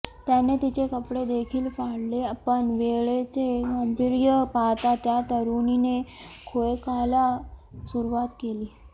त्याने तिचे कपडे देखील फाडले पण वेळेचे गांभीर्य पाहता त्या तरुणीने खोकायला सुरूवात केली